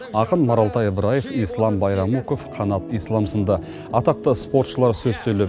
ақын маралтай ыбраев ислам байрамуков қанат ислам сынды атақты спортшылар сөз сөйлеп